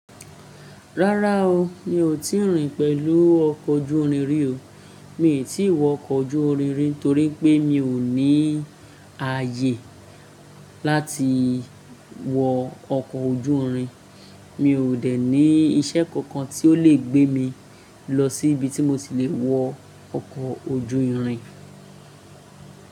Rárá o, mi ò tí ì rìn pẹ̀lú ọkọ̀ ojú irin rí o. Mi ò tí ì wọ ọkọ̀ ojú irin torí pé mi ò ní ààyè láti wọ ọkọ̀ ojú irin. Mi ò dẹ̀ ní iṣẹ́ kankan tí ó lè gbé mi lọ sí ibi tí mo ti le wọ ọkọ̀ ojú irin.